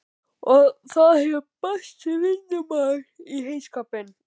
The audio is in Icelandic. Og það hefur bæst vinnumaður í heyskapinn.